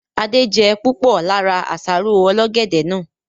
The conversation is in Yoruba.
Adé je púpọ̀ lára àsáró ọlọ́gẹ̀dẹ̀ náà